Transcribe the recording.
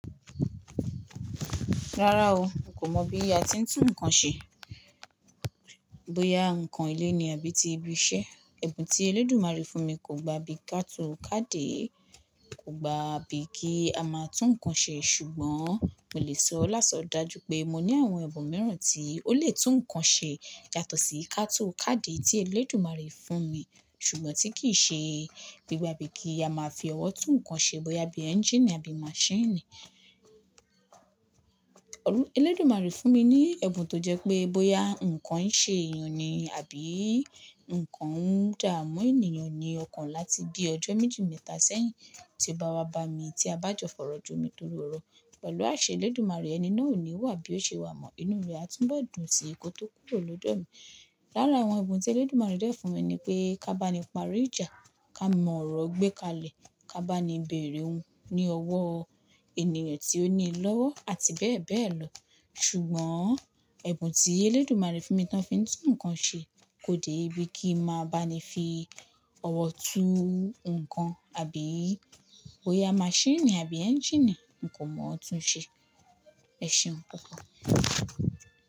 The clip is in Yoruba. Rárá o, kò mọ̀ bí a ti ń tún nǹkan ṣe. Bóyá ǹkan ilé ni àbí ti ibi iṣẹ́. Ẹ̀bùn tí Elédùmarè fún mi kò gba bíi katú kádè, kò gba bíi kí a máa tún nǹkan ṣe, ṣùgbọ́n mo lè sọ láso dájú pé mo ní àwọn ẹ̀bùn mìíràn tí ó lè tún nǹkan ṣe yàtọ̀ sí i katú kádè tí Elédùmarè fún mi ṣùgbọ́n tí kì í ṣe gbígba bí i kí a máa fi ọwọ́ tún nǹkan ṣe bóyá bí i engine àbí machine Elédùmarè fún mi ní ẹ̀bùn tó jẹ́ pé bóyá nǹkan ń ṣe èèyàn ni àbí nǹkan ń dààmú ènìyàn ni ọkàn láti bí ọjọ́ méjì mẹ́ta sẹ́yìn tí ó bá wá bá mi tí a bá jọ fọ̀rọ̀ jomi toro ọrọ̀ pẹ̀lú àṣẹ Elédùmarè ẹni náà ò ní wà bí ó ṣe wà mọ́. Inú rẹ̀ á túnbọ̀ dùn sí ko tó kúrò lọ́dọ́ mi. Lára àwọn ẹ̀bùn tí Elédùmarè dẹ̀ fún mi ni pé ká bá ni parí ìjà, ká mọ ọ̀rọ̀ gbé kalẹ̀, ká bá ni bèèrè oun ní ọwọ́ ènìyàn tí ó ní i lọ́wọ́ àti bẹ́ẹ̀ bẹ́ẹ̀ lọ ṣùgbọ́n ẹ̀bùn tí Elédùmarè fún mi tán fi í tún nǹkan ṣe kò dé ibi kí ma bá ni fi ọwọ́ tú nǹkan àbí ó yá machine àbí engine n kò mọ̀ ọ́n tún ṣe. Ẹ̀ṣeùn púpọ̀.